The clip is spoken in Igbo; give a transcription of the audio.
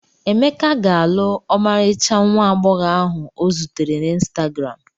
Emeka ga-alụ ọmarịcha nwa agbọghọ ahụ ọ zutere na ịnstagram.